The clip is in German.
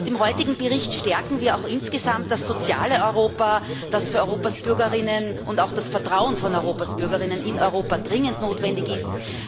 Mit dem heutigen Bericht stärken wir auch insgesamt das soziale Europa, das für Europas Bürgerinnen und Bürger und auch für das Vertrauen von Europas Bürgerinnen und Bürger in Europa dringend notwendig ist.